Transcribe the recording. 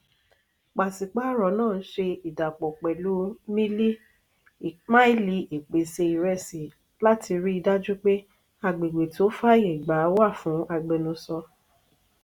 pàṣípààrọ̀ náà ń ṣe ìdàpọ̀ pẹ̀lú miili ìpèsè ìrèsì láti rí dájú pé agbègbè tó fàáyégbà wà fún agbẹnusọ.